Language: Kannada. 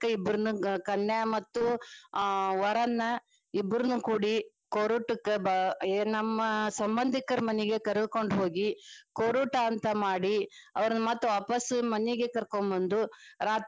ಇಬ್ರನ್ನಾ ಕನ್ಯಾ ಮತ್ತು ಅಹ್ ವರನ್ನಾ ಇಬ್ರುನು ಕೂಡಿ ಕೋರುಟಕ್ಕ ಏನ ನಮ್ಮ ಸಂಬಂಧಿಕರ ಮನಿಗೆ ಕರಕೊಂಡ ಹೋಗಿ, ಕೋರುಟ ಅಂತ ಮಾಡಿ ಅವ್ರನ್ನ ಮತ್ತ ವಾಪಸ ಮನಿಗ ಕರಕೊಬಂದು.